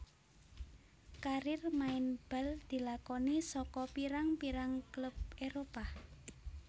Karir maen bal dilakoni saka pirang pirang klub Éropah